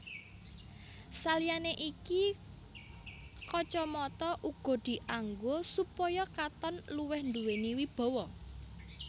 Saliyané iki kacamata uga dianggo supaya katon luwih nduwéni wibawa